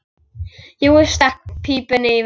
Jói stakk pípunni í vasann.